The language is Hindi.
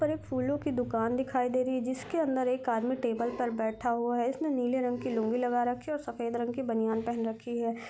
--पर फूलो की दुकान दिखाई दे रही है जिसके अंदर एक आदमी टेबल पर बैठा हुआ है इसने नीले रंग की लूंगी लगा रखी है और सफेद रंग के बनियान पहन रखी है ।